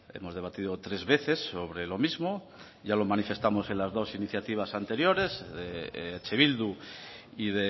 hemos debatido tres veces sobre lo mismo ya lo manifestamos en las dos iniciativas anteriores de eh bildu y